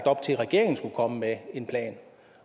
op til at regeringen skulle komme med en plan